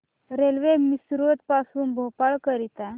railway Misrod पासून भोपाळ करीता